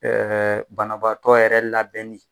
banabaatɔ yɛrɛ labɛnni.